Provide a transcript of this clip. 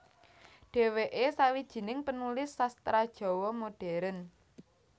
Dheweke sawijining penulis sastra Jawa Modern